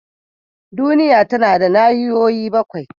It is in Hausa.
Duniya tana da nahiyoyi bakwai.